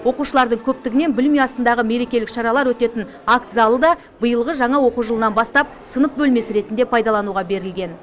оқушылардың көптігінен білім ұясындағы мерекелік шаралар өтетін акт залы да биылғы жаңа оқу жылынан бастап сынып бөлмесі ретінде пайдалануға берілген